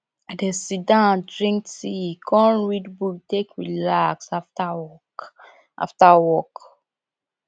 i dey sidon drink tea kom read book take relax after work after work